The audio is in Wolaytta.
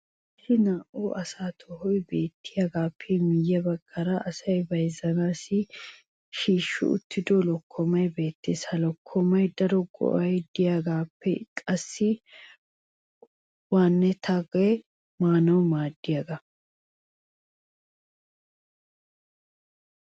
issi na"aassi tohoy beettiyaagaappe miye bagan asay bayzzanaassi shiishshi uttido lokkomay beetees. ha lokkomaassi daro ga'ay diyaagaappe qassi waanattiyaage maanawu maaddiyoogaa.